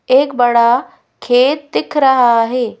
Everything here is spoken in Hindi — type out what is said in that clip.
एक बड़ा खेत दिख रहा है।